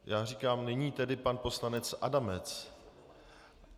Já říkám: Nyní tedy pan poslanec Adamec.